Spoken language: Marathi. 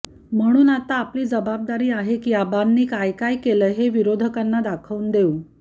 म्हणून आता आपली जबाबदारी आहे की आबांनी काय काय केलंय हे विरोधकांना दाखवून देऊ